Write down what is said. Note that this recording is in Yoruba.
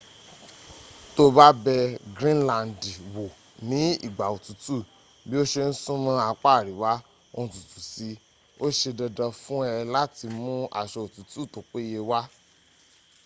to ba bẹ grinlandi wo ni igba otutu bi o ṣe n sumọ apa ariwa o n tutu si i o ṣe dandan fun ẹ lati mu aṣọ otutu to peye wa